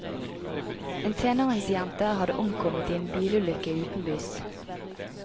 En tenåringsjente hadde omkommet i en bilulykke utenbys.